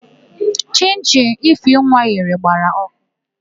Chịnchịn Ifeinwa ghere gbara ọkụ.